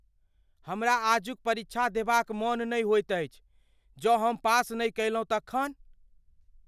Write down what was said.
हमरा आजुक क परीक्षा देबा क मन नहि होइत अछि। जँ हम पास नहि कयलहुँ तखन ?